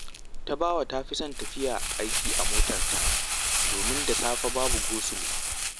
Tabawa ta fi son tafiya aiki a motarta, domin da safe babu gosulo